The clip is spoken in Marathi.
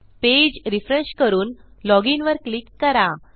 पेज रिफ्रेश करून loginवर क्लिक करा